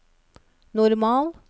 normal